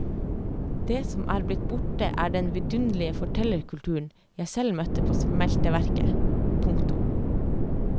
Det som er blitt borte er den vidunderlige fortellerkulturen jeg selv møtte på smelteverket. punktum